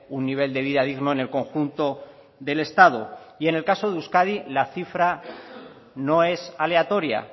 un nivel de vida digno en el conjunto del estado y en el caso de euskadi la cifra no es aleatoria